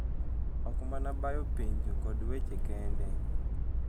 Ok mana bayo penjo kod weche kende.